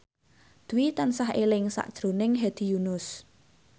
Dwi tansah eling sakjroning Hedi Yunus